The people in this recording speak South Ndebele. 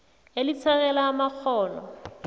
elisekela amakghono